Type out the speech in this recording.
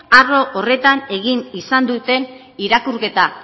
arlo horretan egin izan duten irakurketa